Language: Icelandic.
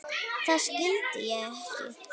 Það skildi ég ekki.